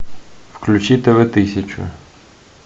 включи тв тысячу